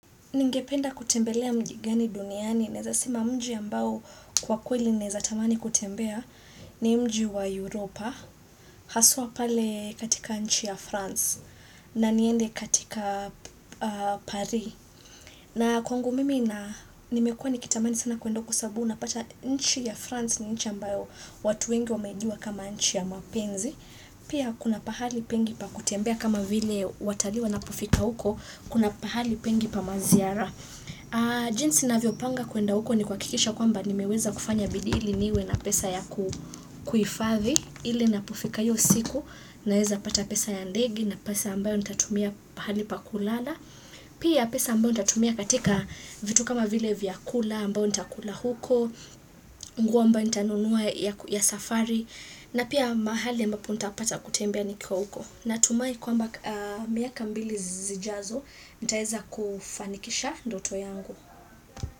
Ningependa kutembelea mjigani duniani, naeza sema mji ambao kwa kweli naeza tamani kutembea ni mji wa Europa, haswa pale katika nchi ya France, na niende katika Paris. Na kwangu mimi na nimekuwa nikitamani sana kuenda kusabu na pata nchi ya France ni nchi ambayo watu wengi wameijua kama nchi ya mapenzi. Pia kuna pahali pengi pa kutembea kama vile watali wanapofika huko, kuna pahali pengi pa maziara. Jinsi na vyopanga kuenda uko ni kwa kikisha kwamba nimeweza kufanya bidii ili niwe na pesa ya kuhifadhi, ili na pofika iyosiku, naweza pata pesa ya ndege na pesa ambayo nitatumia pahali pa kulala. Pia pesa ambao nitatumia katika vitu kama vile vya kula ambao ntakula huko nguo ambao ntanunuwa ya safari na pia mahali ambao ntapata kutembea nikiwa huko na tumai kwamba miaka mbili zijazo nitaeza kufanikisha ndoto yangu.